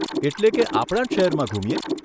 એટલે કે આપણા જ શહેરમાં ઘૂમીએ?